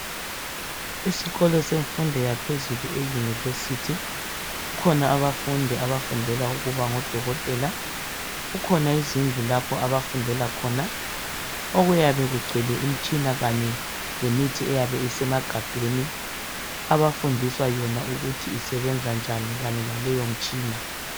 isikolo semfundo yaphezulu e university kukhona abafundi abafundela ukuba ngo dokotela kukhona izindlu lapho abafundela khona okuyabe kugcwele imitshina kanye lemithi eyabe isemagabheni abafundiswa yona ukuthi isebenzani kanye laleyo mitshina